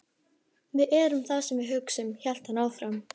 Við erum það sem við hugsum- hélt hann áfram.